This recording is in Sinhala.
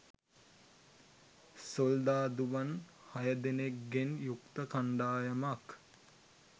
සොල්දාදුවන් හයදෙනෙක්ගෙන් යුක්ත කන්ඩායමක්